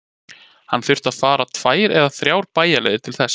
Hann þurfti að fara tvær eða þrjá bæjarleiðir til þess.